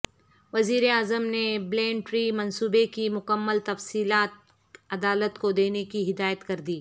وزیراعظم نے billion tree منصوبے کی مکمل تفصیلات عدالت کو دینے کی ہدایت کردی